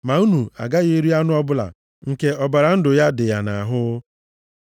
“Ma unu agaghị eri anụ ọbụla nke ọbara ndụ ya dị ya nʼahụ.